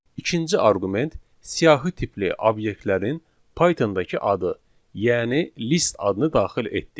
ikinci arqument siyahı tipli obyektlərin Pythondakı adı, yəni list adını daxil etdik.